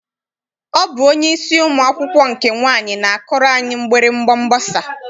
Ọ bụ onyeisi ụmụ akwụkwọ nke nwaanyị na-akụrụ anyị mgbịrịgba mgbasa.